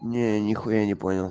не нихуя не понял